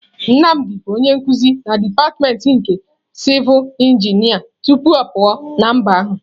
Nnamdi bụ onye nkuzi na dipatịmentị nke sivul injinia tupu ọ pụọ na mba ahụ.